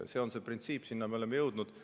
See on see printsiip, sinna me oleme jõudnud.